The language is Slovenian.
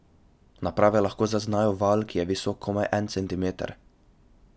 Naprave lahko zaznajo val, ki je visok komaj en centimeter.